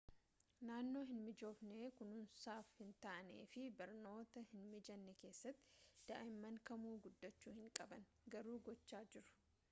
naannoo hin mijoofne kunuunsaaf hin taane fi barnoota hin mijanne keessatti daa'imman kamuu guddachuu hin qaban garuu gochaa jiru